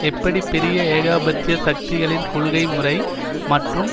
எப்படி பெரிய ஏகாபத்திய சக்திகளின் கொள்ளை முறை மற்றும்